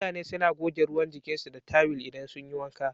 mutane suna goge ruwan jikinsu da tawil idan sun yi wanka.